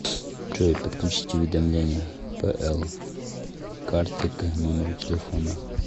джой подключить уведомления пл карте к номеру телефона